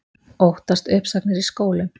Óttast uppsagnir í skólum